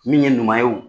Min ye ɲuman ye o